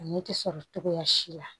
A ɲɛ tɛ sɔrɔ cogoya si la